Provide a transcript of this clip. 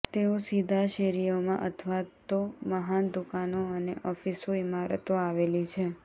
તેઓ સીધા શેરીઓમાં અથવા તો મહાન દુકાનો અને ઓફિસો ઇમારતો આવેલી છે